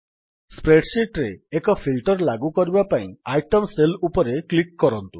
spread sheet ରେ ଏକ filter ଲାଗୁ କରିବା ପାଇଁ ଆଇଟେମ୍ ସେଲ୍ ଉପରେ କ୍ଲିକ୍ କରନ୍ତୁ